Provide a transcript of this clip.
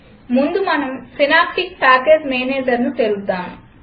ముందు మనం synaptic package Managerను తెరుద్దాం